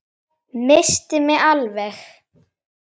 Missti mig alveg!